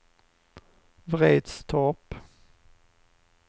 Vretstorp